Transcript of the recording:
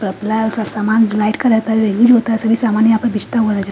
सामान जो light colour का यूज होता है सभी समान यहां पर बिचता हुआ नज़र--